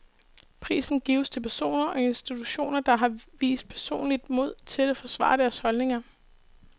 Prisen gives til personer og institutioner, der har vist personligt mod til at forsvare deres holdninger.